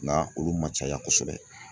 Nka olu ma caya kosɛbɛ.